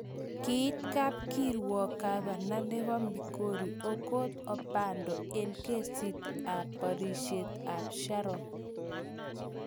Kiit kapkirwook gvana nebo migori, okoth obado eng' kesiit ap bariisiiet ap sharon